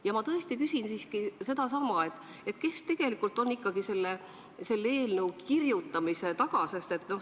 Ja ma küsin sedasama: kes tegelikult ikkagi on selle eelnõu kirjutamise taga?